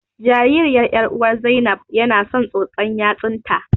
Jaririyar ƴaruwar Zainab yana son tsotsar yatsun ta.